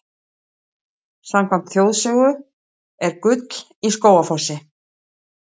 Samkvæmt þjóðsögu er gull í Skógafossi.